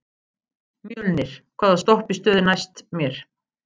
Mjölnir, hvaða stoppistöð er næst mér?